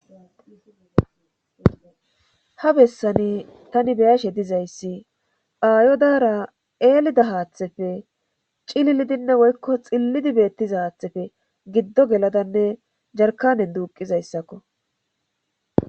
ha bessani tani beyashe dizayssi aayo daara eelida haaththefe cillidinne woykko xillidi beettiza haaththefe giddo geladanne jarkanen duuqizayssakko